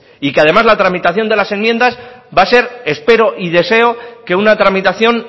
y que además la tramitación de las enmiendas va a ser espero y deseo que una tramitación